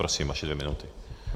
Prosím, vaše dvě minuty.